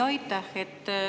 Aitäh!